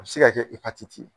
A bɛ se ka kɛ ye